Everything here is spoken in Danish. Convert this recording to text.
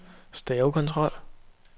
stavekontrol